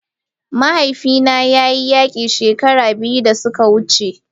Mahaifina ya yi yaƙi shekaru biyu da suka wuce